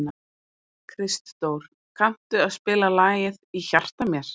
Kristdór, kanntu að spila lagið „Í hjarta mér“?